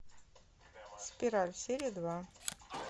спираль серия два